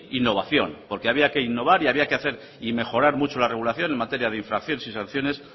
innovación porque había que innovar y había que hacer y mejorar mucho la regulación en materia de infracción y sanciones